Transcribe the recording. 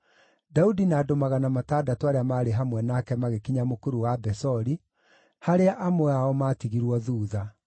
Daudi na andũ magana matandatũ arĩa maarĩ hamwe nake magĩkinya Mũkuru wa Besori, harĩa amwe ao maatigirwo thuutha,